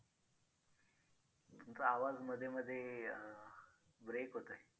तुमचा आवाज मध्ये मध्ये अं break होतोय.